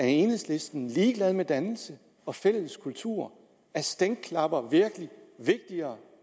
enhedslisten ligeglad med dannelse og fælles kultur er stænklapper virkelig vigtigere